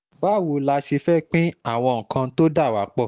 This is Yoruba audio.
báwo la ṣe fẹ́ẹ́ pín àwọn nǹkan tó dà wá pọ̀